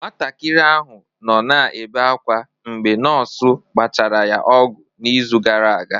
Nwatakịrị ahụ nọ na-ebe akwa mgbe nọọsụ gbachara ya ọgwụ n'izu gara aga.